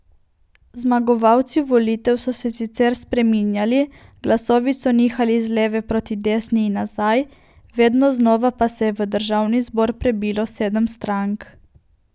Zmagovalci volitev so se sicer spreminjali, glasovi so nihali z leve proti desni in nazaj, vedno znova pa se je v državni zbor prebilo sedem strank.